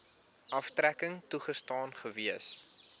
aftrekking toegestaan gewees